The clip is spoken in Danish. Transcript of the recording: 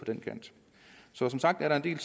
den kant som sagt er der en